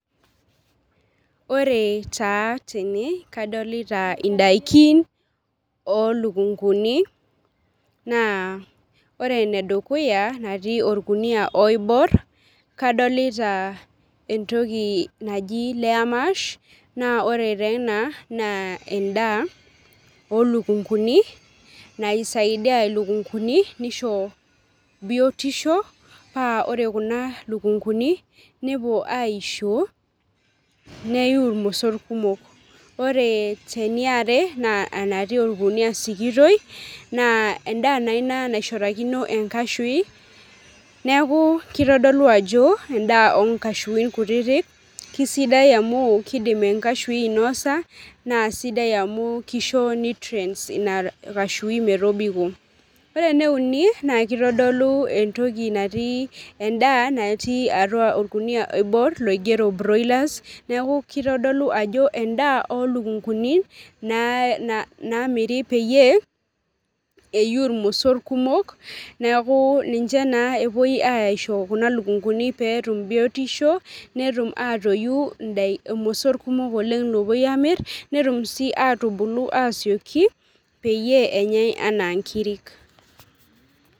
Ore taa tene kadolita ndakini olukunguni na ore enedukuya natii orkunia oibor nadolta entoki naji layer mash na ore taa ena na endaa olukunguni naisaidia lukunguni nisho biotisho pa ore kuna lukunguni nepuo aisho neyiu irmosor kumok, ore eniare na anatii orkunia sikitoi na endaa naa naishorakino enkashui neakubkitodilu ajo endaa onkashuin kutitik na kesidai amu kidim enkashui ainoisa na sidai nutrients inakashui metobiko, ore eneuni na kitadolu entoki endaa natii orkunia oibor oigero broillers neaku kitodolu ajo endaa olukunguni namiri peyie eyiu irmosor kumok neaku ninche ta epuoi aisho kuna lukunguni petum biotisho netum atoyi irmosor kumok opuoi amir peyieul enyae anaa nkirik.